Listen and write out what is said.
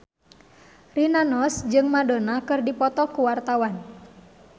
Rina Nose jeung Madonna keur dipoto ku wartawan